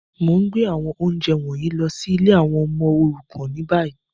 Mo n gbé àwọn ounjẹ wọ̀nyí lọ si ìlé àwon ọmọ òrukàn ni bayi.